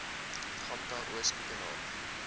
gamka oos koekenaap